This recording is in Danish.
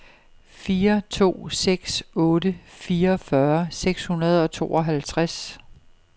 fire to seks otte fireogfyrre seks hundrede og tooghalvtreds